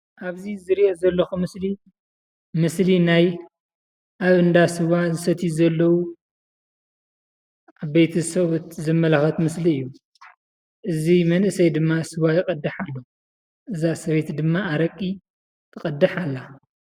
ኣብዚ ዝርኦ ዘለኩ ምስሊ ምስሊ ናይ ኣብ እንዳ ስዋ ዝሰትዩ ዘለው ዓበይቲ ሰብኡት ዘመላክት ምስሊ እዩ። እዚ መንእሰይ ድማ ስዋ ይቀድሕ ኣሎ እዛ ሰበይቲ ድማ ኣረቂ ትቀድቅ ኣላ።